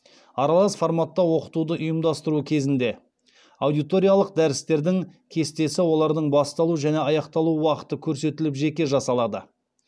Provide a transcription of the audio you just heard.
аралас форматта оқытуды ұйымдастыру кезінде аудиториялық дәрістердің кестесі олардың басталу және аяқталу уақыты көрсетіліп жеке жасалады